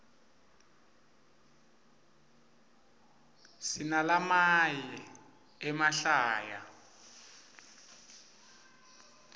sinalamaye emahlaya